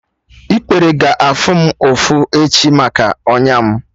Ikpere ga-afụ m ụfụ echi maka ọnya m